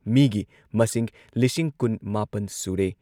ꯃꯤꯒꯤ ꯃꯁꯤꯡ ꯂꯤꯁꯤꯡ ꯀꯨꯟꯃꯥꯄꯟ ꯁꯨꯔꯦ ꯫